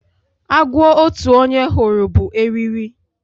Agwo otu onye hụrụ bụ eriri